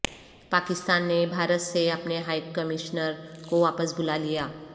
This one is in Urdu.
پاکستان نے بھارت سے اپنے ہائی کمشنر کوواپس بلا لیا